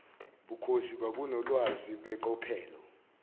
bukhosi babunolwazi beqophelo